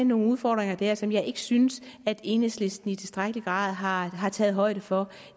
nogle udfordringer der som jeg ikke synes at enhedslisten i tilstrækkelig grad har har taget højde for